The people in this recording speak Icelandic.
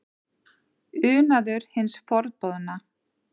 Unaður hins forboðna?